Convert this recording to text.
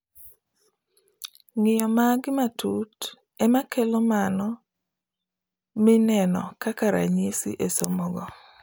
Ng'iyo magi matut emakelo mano mineno kaka ranyisi e somo go